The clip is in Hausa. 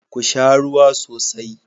Ku sha ruwa sosai.